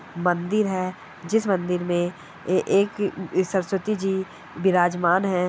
मंदिर है जिस मंदिर में ऐ-एक सरस्वती जी बिराजमान है ।